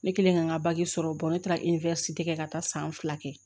Ne kɛlen ka n ka sɔrɔ ne taara kɛ ka taa san fila kɛ